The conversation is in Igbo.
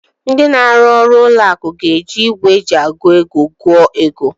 Ndị na-arụ n'ụlọ akụ ga-eji igwe eji agụ ego gụọ ego.